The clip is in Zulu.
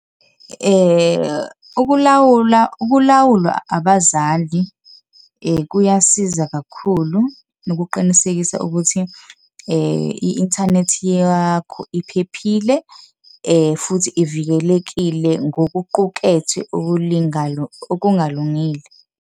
Ukulawula, ukulawulwa abazali kuyasiza kakhulu, nokuqinisekisa ukuthi i-internet yakho iphephile futhi ivikelekile ngokuqukethwe okungalungile.